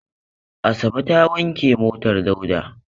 Asabe ta wanke motar Dauda.